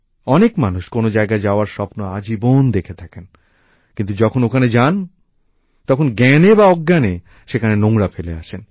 অনেক মানুষ কোনো জায়গায় যাওয়ার স্বপ্ন আজীবন দেখে থাকেন কিন্তু যখন ওখানে যান তখন জ্ঞানে বা অজ্ঞানে সেখানে নোংরা ফেলে আসেন